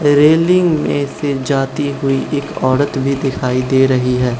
Railing में से जाती हुई एक औरत भी दिखाई दे रही है।